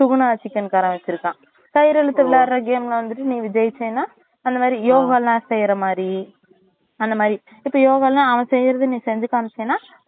Suguna chicken காரன் வச்சிருக்கான் கயிறு இழுத்து விளையாடுற game ல வந்துட்டு நீ ஜெயிசேனா அந்த மாறி yoga லாம் செய்ற மாறி அந்த மாறி இப்ப yoga லாம் அவன் செய்றத நீ செஞ்சு காமிசிட்டேனா